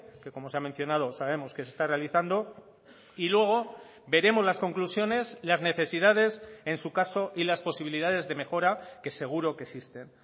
que como se ha mencionado sabemos que se está realizando y luego veremos las conclusiones las necesidades en su caso y las posibilidades de mejora que seguro que existen